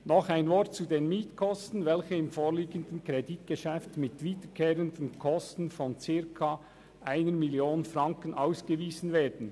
Noch ein Wort zu den Mietkosten, welche im vorliegenden Kreditgeschäft mit wiederkehrenden Kosten von circa 1 Mio. Franken ausgewiesen werden.